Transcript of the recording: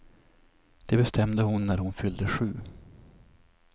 Det bestämde hon när hon fyllde sju.